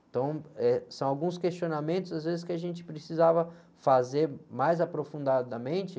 Então, eh, são alguns questionamentos, às vezes, que a gente precisava fazer mais aprofundadamente.